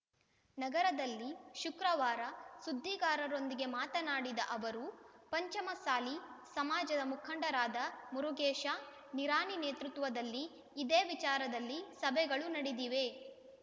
ನಗರದಲ್ಲಿ ಶುಕ್ರವಾರ ಸುದ್ದಿಗಾರರೊಂದಿಗೆ ಮಾತನಾಡಿದ ಅವರು ಪಂಚಮಸಾಲಿ ಸಮಾಜದ ಮುಖಂಡರಾದ ಮುರುಗೇಶ ನಿರಾಣಿ ನೇತೃತ್ವದಲ್ಲಿ ಇದೇ ವಿಚಾರದಲ್ಲಿ ಸಭೆಗಳೂ ನಡೆದಿವೆ